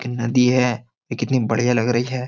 नदी है ये कितनी बढ़िया लग रही है।